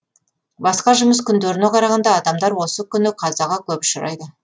басқа жұмыс күндеріне қарағанда адамдар осы күні қазаға көп ұшырайды